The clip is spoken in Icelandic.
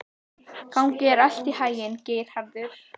Gangi þér allt í haginn, Geirharður.